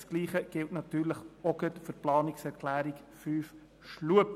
Dasselbe gilt für die Planungserklärung 5 von Grossrat Schlup.